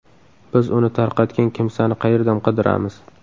Biz uni tarqatgan kimsani qayerdan qidiramiz?